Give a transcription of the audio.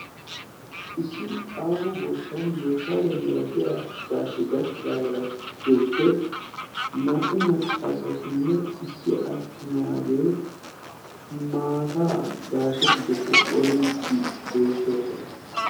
Issi aaho goshshan yooshaariyaa miratiya gaashe gakkidaagaa giddoppe naa"u maccaasatinne issi attumaagee maata gaashe giddoppe qoriiddi beettoosona.